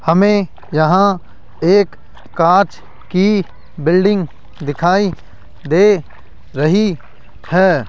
हमें यहां एक कांच की बिल्डिंग दिखाई दे रही है।